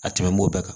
A tɛmɛn'o bɛɛ kan